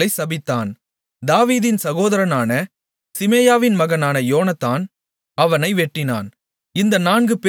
இஸ்ரவேலர்களைச் சபித்தான் தாவீதின் சகோதரனான சீமேயாவின் மகனான யோனத்தான் அவனை வெட்டினான்